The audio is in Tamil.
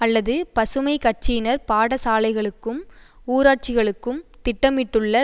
அல்லது பசுமை கட்சியினர் பாடசாலைகளுக்கும் ஊராட்சிகளுக்கும் திட்டமிட்டுள்ள